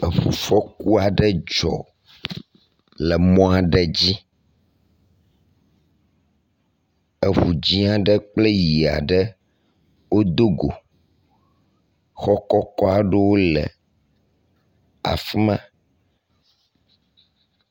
Eŋufɔku aɖe dzɔ le mɔ aɖe dzi. Eŋu dzɛ̃ aɖe kple ʋi aɖe wodo go. Xɔ kɔkɔ aɖewo le afi ma.